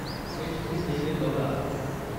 HD. Deve Gowda